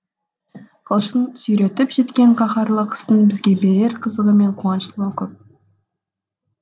қылышын сүйретіп жеткен қаһарлы қыстың бізге берер қызығы мен қуанышы көп